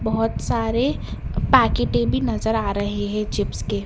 बहुत सारे पैकेटें भी नज़र आ रही है चिप्स के।